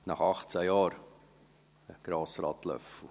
18 Jahre, Grossrat Löffel